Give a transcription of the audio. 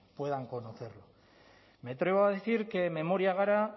puedan conocer me atrevo a decir que memoria gara